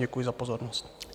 Děkuji za pozornost.